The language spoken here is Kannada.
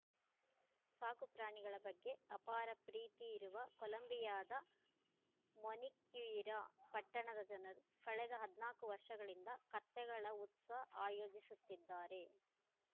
ಸಾಕು ಪ್ರಾಣಿಗಳ ಬಗ್ಗೆ ಅಪಾರ ಪ್ರೀತಿ ಇರುವ ಕೊಲಂಬಿಯಾದ ಮೊನಿಕ್ಯುಯಿರಾ ಪಟ್ಟಣದ ಜನರು ಕಳೆದ ಹದಿನಾಲ್ಕು ವರ್ಷಗಳಿಂದ ಕತ್ತೆಗಳ ಉತ್ಸ ಆಯೋಜಿಸುತ್ತಿದ್ದಾರೆ